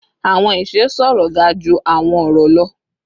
Awọn iṣe sọrọ ga ju awọn ọrọ lọ